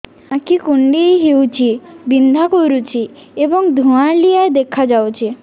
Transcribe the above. ଆଖି କୁଂଡେଇ ହେଉଛି ବିଂଧା କରୁଛି ଏବଂ ଧୁଁଆଳିଆ ଦେଖାଯାଉଛି